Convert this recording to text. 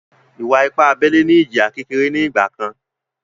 Ìwà-ipá abẹ́lẹ́ ní ìjìyà kékeré ní ìgbà kan